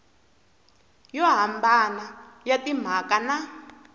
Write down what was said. yo hambana ya timhaka na